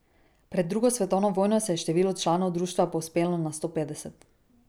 Pred drugo svetovno vojno se je število članov društva povzpelo na sto petdeset.